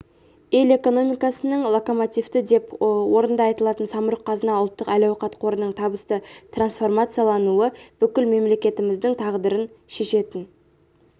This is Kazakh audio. ел экономикасының локомотиві деп орынды айтылатын самұрық-қазына ұлттық әл-ауқат қорының табысты трансформациялануы бүкіл мемлекетіміздің тағдырын шешетін